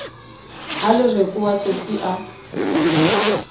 ha lereko wa tsotsi a